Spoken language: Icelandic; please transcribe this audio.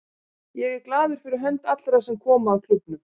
Ég er glaður fyrir hönd allra sem koma að klúbbnum.